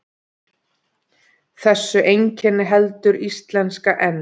Þessu einkenni heldur íslenska enn.